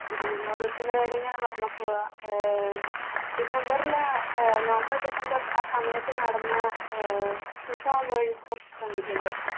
ഈ വിനോദത്തിന്റെ കാര്യങ്ങള് പറഞ്ഞപ്പോഴാ ആഹ് december ല് അഹ് november december ആ സമയത്ത് നടന്ന ആഹ് ഫിഫ വേൾഡ് കപ്പ് കണ്ടിട്ടുണ്ടോ?